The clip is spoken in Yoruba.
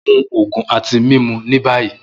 Mu oogun ati mimu ni bayi!